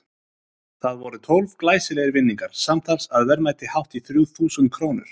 Það voru tólf glæsilegir vinningar, samtals að verðmæti hátt í þrjú þúsund krónur.